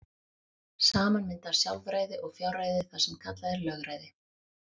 Saman mynda sjálfræði og fjárræði það sem kallað er lögræði.